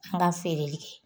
N ka feereli kɛ